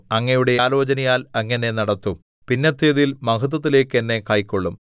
അങ്ങയുടെ ആലോചനയാൽ അങ്ങ് എന്നെ നടത്തും പിന്നത്തേതിൽ മഹത്വത്തിലേക്ക് എന്നെ കൈക്കൊള്ളും